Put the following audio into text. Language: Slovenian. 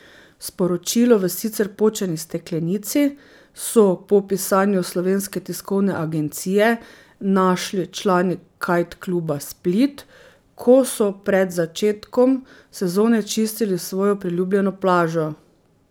Sporočilo v sicer počeni steklenici so po pisanju Slovenske tiskovne agencije našli člani kajt kluba Split, ko so pred začetkom sezone čistili svojo priljubljeno plažo.